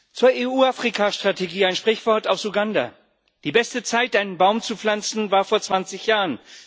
Herr Präsident! Zur EU Afrika Strategie ein Sprichwort aus Uganda Die beste Zeit, einen Baum zu pflanzen, war vor zwanzig Jahren